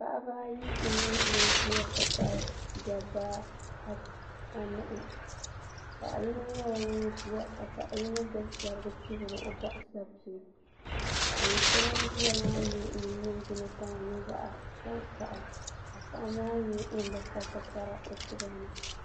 Paɣaba ayi n nyɛ ban ʒiya nti pahi dɔbba anahi paɣ yino nyɛla ŋun ʒiya ka paɣ yino gbubi shɛrigi n chibiri o bɔɣusapim paɣa so ŋun ʒiya maa nyɛ ŋun ningbuna kama nyɛ zaɣ tankpaɣu ka paɣa maa nyɛ ŋun bi kpa tikpara o tiba ni.